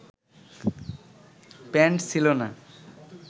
pant ছিলো না